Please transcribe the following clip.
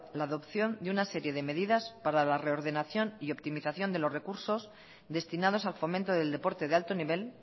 la adopción de una serie de medidas para la reordenación y optimización de los recursos destinados al fomento del deporte de alto nivel